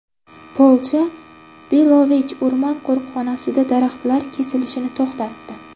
Polsha Belovej o‘rmon qo‘riqxonasida daraxtlar kesilishini to‘xtatdi.